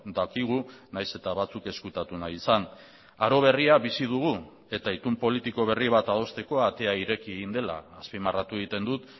dakigu nahiz eta batzuk ezkutatu nahi izan aro berria bizi dugu eta itun politiko berri bat adosteko atea ireki egin dela azpimarratu egiten dut